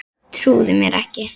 Trúði mér ekki.